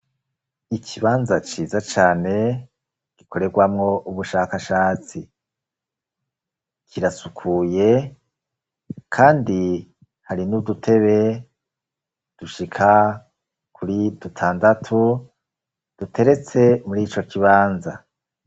Ikibanza ciza cane gikorerwamo ubushakashatsi. Kirasukuye kandi hari n'udutebe dushika kuri dutandatu duteretse muri ico kibanza.